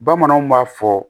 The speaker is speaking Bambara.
Bamananw b'a fɔ